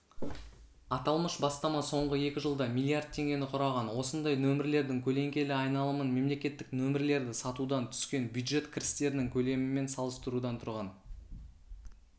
аталмыш бастама соңғы екі жылда миллиард теңгені құраған осындай нөмірлердің көлеңкелі айналымын мемлекеттік нөмірлерді сатудан түскен бюджет кірістерінің көлемімен салыстырудан туған